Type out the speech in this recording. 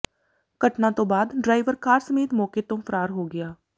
ਘਟਨਾ ਤੋਂ ਬਾਅਦ ਡਰਾਈਵਰ ਕਾਰ ਸਮੇਤ ਮੌਕੇ ਤੋਂ ਫ਼ਰਾਰ ਹੋ ਗਿਆ